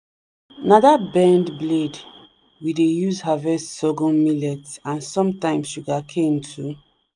na that bend blade we dey use harvest sorghum millet and sometimes sugarcane too.